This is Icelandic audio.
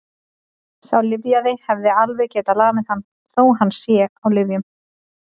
Sá lyfjaði hefði alveg getað lamið hann, þó að hann sé á lyfjum.